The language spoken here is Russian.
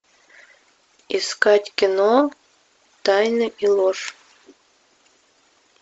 искать кино тайны и ложь